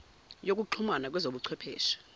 yokuxhumana kwezobu chwepheshe